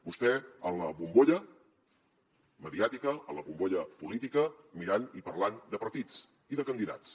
vostè en la bombolla mediàtica a la bombolla política mirant i parlant de partits i de candidats